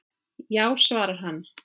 Já svarar hann.